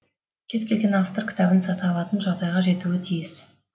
кез келген автор кітабын сата алатын жағдайға жетуі тиіс